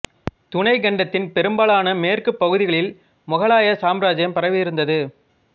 துணைக் கண்டத்தின் பெரும்பாலான மேற்குப் பகுதிகளில் முகலாய சாம்ராஜ்ஜியம் பரவி இருந்தது